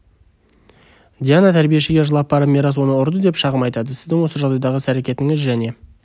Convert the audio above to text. диана тәрбиешіге жылап барып мирас оны ұрды деп шағым айтады сіздің осы жағдайдағы іс-әрекетіңіз және